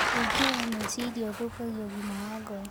Wĩingĩ wa meciria ũthukagia ũgima wa ngoro